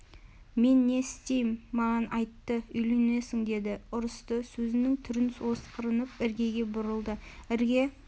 мен не істейім маған айтты үйленесің деді ұрысты сөзінің түрін осқырынып іргеге бұрылды ірге